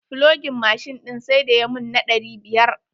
Flogin mashin ɗin sai da ya mun na ɗari biyar.